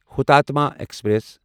ہوتاتما express